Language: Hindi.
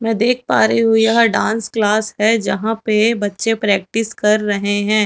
मैं देख पा रही हूं यह डांस क्लास है जहां पे बच्चे प्रेक्टिस कर रहे हैं।